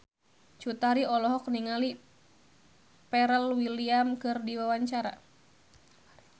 Cut Tari olohok ningali Pharrell Williams keur diwawancara